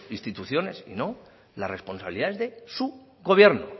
instituciones y no la responsabilidad es de su gobierno